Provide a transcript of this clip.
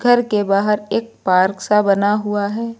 घर के बाहर एक पार्क सा बना हुआ है।